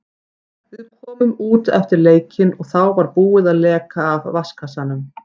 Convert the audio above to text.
Við komum út eftir leikinn og þá var búið að leka af vatnskassanum.